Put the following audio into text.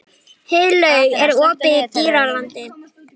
Heiðlaug, er opið í Dýralandi?